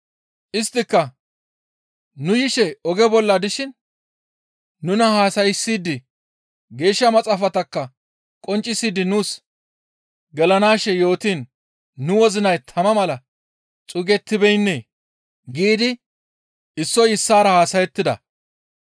Isttika, «Nu yishe oge bolla dishin nuna haasayssidi Geeshsha Maxaafatakka qonccisidi nuus gelanaashe yootiin nu wozinay tama mala xuugettibeennee?» giidi issoy issaara haasayettida.